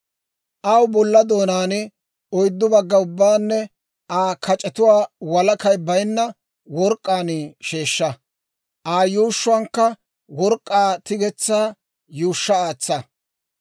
Aw bolla doonaa, oyddu bagga ubbaanne Aa kac'etuwaa walakay baynna work'k'aan sheeshsha; Aa yuushshuwaankka work'k'aa tigetsaa yuushsha aatsa.